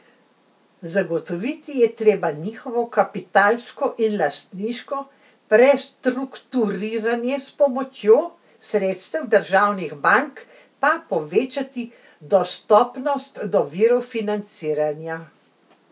Zagotoviti je treba njihovo kapitalsko in lastniško prestrukturiranje, s pomočjo sredstev državnih bank pa povečati dostopnost do virov financiranja.